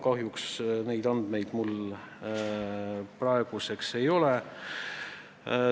Kahjuks neid andmeid mul praeguseks ei ole.